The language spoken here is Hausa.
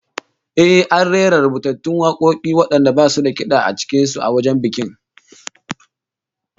Eh, an rera rubutattun wakoki wadanda basu da kid'a cikin su, a wajen bikin